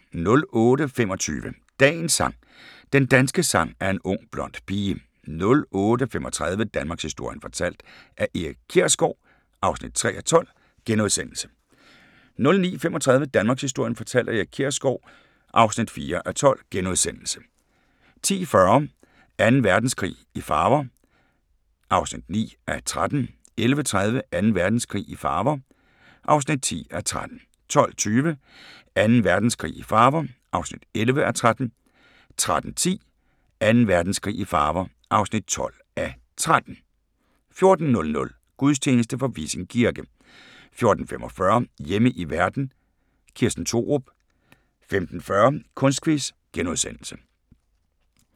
08:25: Dagens sang: Den danske sang er en ung blond pige 08:35: Danmarkshistorien fortalt af Erik Kjersgaard (3:12)* 09:35: Danmarkshistorien fortalt af Erik Kjersgaard (4:12)* 10:40: Anden Verdenskrig i farver (9:13) 11:30: Anden Verdenskrig i farver (10:13) 12:20: Anden Verdenskrig i farver (11:13) 13:10: Anden Verdenskrig i farver (12:13) 14:00: Gudstjeneste fra Vissing Kirke 14:45: Hjemme i verden – Kirsten Thorup 15:40: Kunstquiz *